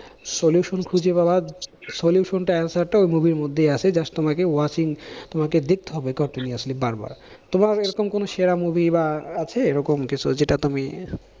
solution খুঁজে পাবা solution টা answer টাও movie র মধ্যে আছে just তোমাকে watching তোমাকে দেখতে হবে continuously বার বার, তোমার এরকম কোনো movie বা আছে এরকম কিছু যেটা তুমি